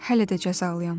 Hələ də cəzalıyam.